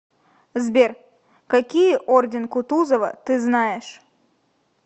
сбер какие орден кутузова ты знаешь